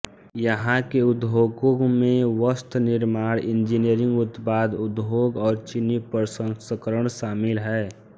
यहाँ के उद्योगों में वस्त्र निर्माण इंजीनियरिंग उत्पाद उद्योग और चीनी प्रसंस्करण शामिल है